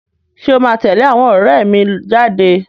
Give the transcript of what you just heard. Ṣé o máa tẹ̀lé àwọn ọ̀rẹ́ mi jáde?